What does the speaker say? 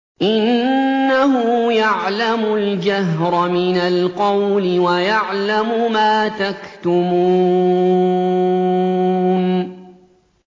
إِنَّهُ يَعْلَمُ الْجَهْرَ مِنَ الْقَوْلِ وَيَعْلَمُ مَا تَكْتُمُونَ